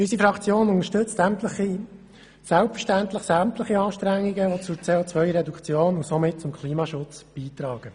Unsere Fraktion unterstützt selbstverständlich sämtliche Anstrengungen, die zur CO-Reduktion und somit zum Klimaschutz beitragen.